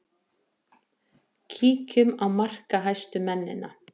Kíkjum á markahæstu mennina.